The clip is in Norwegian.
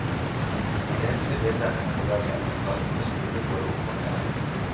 Et enslig bilde henger på veggen, festet med skruer både oppe og nede.